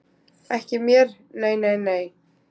Ekki mér nei nei nei.